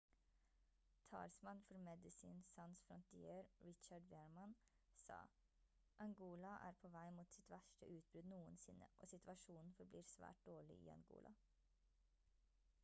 talsmann for medecines sans frontiere richard veerman sa: «angola er på vei mot sitt verste utbrudd noensinne og situasjonen forblir svært dårlig i angola»